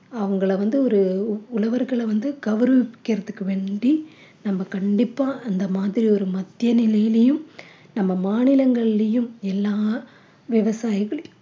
அவங்கள வந்து ஒரு உழவர்கள வந்து கௌரவிக்கறதுக்கு வேண்டி நம்ம கண்டிப்பா அந்த மாதிரி ஒரு மத்திய நிலையிலையும் நம்ம மாநிலங்கள்லயும் எல்லா விவசாயிகள்